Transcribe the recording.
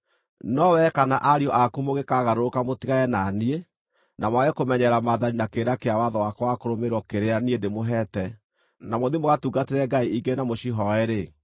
“No wee kana ariũ aku mũngĩkagarũrũka mũtigane na niĩ, na mwage kũmenyerera maathani na kĩrĩra kĩa watho wakwa wa kũrũmĩrĩrwo kĩrĩa niĩ ndĩmũheete na mũthiĩ mũgatungatĩre ngai ingĩ na mũcihooe-rĩ,